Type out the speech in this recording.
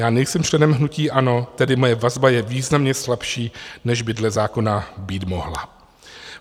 Já nejsem členem hnutí ANO, tedy moje vazba je významně slabší, než by dle zákona být mohla.